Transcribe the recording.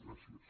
gràcies